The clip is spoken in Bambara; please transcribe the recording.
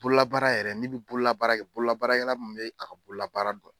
Bololabaara yɛrɛ n'i bɛ bololabaara kɛ bololabaakɛla mun bɛ a ka bololabaara dɔn.